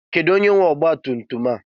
Kedu onye nwe ọgba tum tum a?